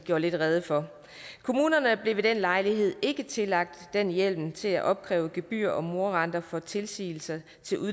gjorde lidt rede for kommunerne blev ved den lejlighed ikke tillagt den hjemmel til at opkræve gebyrer og morarenter for tilsigelser